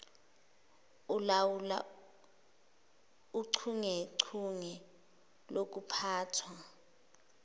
elawula uchungechunge lokuphathwa